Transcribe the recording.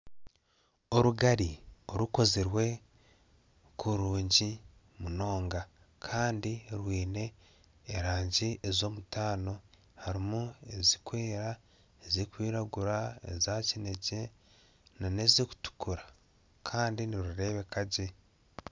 Orugari orukozirwe kurungi munonga Kandi rwine erangi ez'omutaano harimu ezirikwera ezirikwiragura eza kinekye nana ezirikutukura kandi nirureebeka gye